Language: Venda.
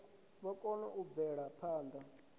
vha kone u bvela phanḓa